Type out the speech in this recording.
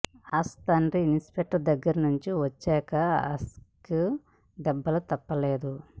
has తండ్రి inspector దగ్గరి నుంచి వచ్చాక హాస్కి దెబ్బలు తప్పలేదు